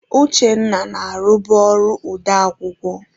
Uchenna na-arụbu ọrụ odeakụkọ.